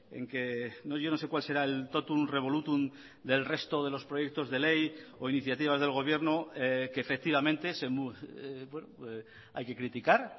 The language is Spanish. en que yo no sé cuál será el totum revolutum del resto de los proyectos de ley o iniciativas del gobierno que efectivamente hay que criticar